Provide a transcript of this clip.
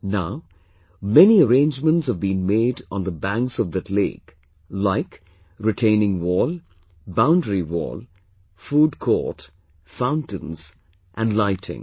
Now, many arrangements have been made on the banks of that lake like retaining wall, boundary wall, food court, fountains and lighting